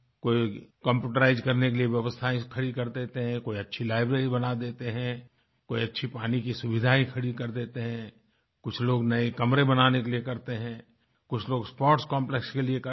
कोई कम्प्यूटराइज्ड करने के लिए व्यवस्थायें खड़ी कर देते हैंकोई अच्छी लाइब्रेरी बना देते हैं कोई अच्छी पानी की सुविधायें खड़ी कर देते हैंकुछ लोग नए कमरे बनाने के लिए करते हैंकुछ लोग स्पोर्ट्स कॉम्प्लेक्स के लिए करते हैं